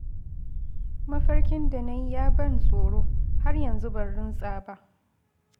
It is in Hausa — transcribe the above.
Mafarkin da na yi ya ban tsoro, har yanzu ban runtsa ba